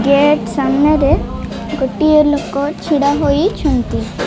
Gate ସାମ୍ନାରେ ଗୋଟିଏ ଲୋକ ଛିଡା ହୋଇଛନ୍ତି।